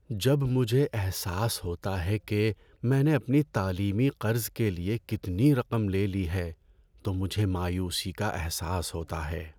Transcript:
جب مجھے احساس ہوتا ہے کہ میں نے اپنے تعلیمی قرض کے لیے کتنی رقم لے لی ہے تو مجھے مایوسی کا احساس ہوتا ہے۔